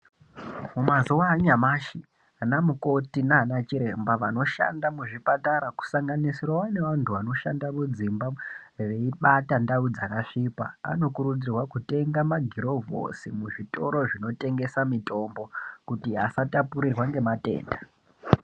Mumazuwa anyamashi ananamukoti nanachiremba vanoshanda muzvipatara kusanganisirawo nevantu vanoshanda mudzimba veibata ndau dzakasvipa anokurudzirwa kutenga magirovhusi muzvitoro zvinotengesa mitombo kuti asatapurirwa ngematenda.